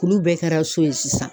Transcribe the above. Kulu bɛɛ kɛra so ye sisan.